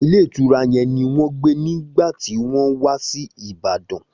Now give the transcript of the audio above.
Ilé ìtura yẹn ni wọn gbe nigba ti wọn wa si Ibadan.